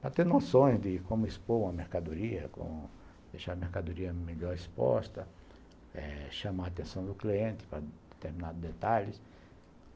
para ter noções de como expor uma mercadoria, como deixar a mercadoria melhor exposta, eh chamar a atenção do cliente para determinados detalhes.